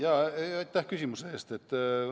Aitäh küsimuse eest!